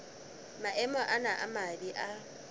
maemo ana a mabe a